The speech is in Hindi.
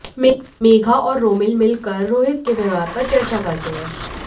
मेघा और रोमिल मिलकर रोहित के व्यवहार पर चर्चा करते हैं